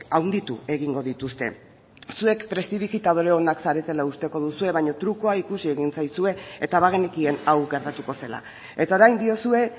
handitu egingo dituzte zuek prestidigitadore onak zaretela usteko duzue baina trukua ikusi egin zaizue eta bagenekien hau gertatuko zela eta orain diozue